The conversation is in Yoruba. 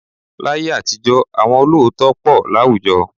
Láyé àtijọ́ àwọn olóòótọ́ pọ̀ láwùjọ